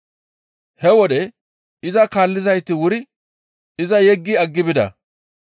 He wode iza kaallizayti wuri iza yeggi aggi bida.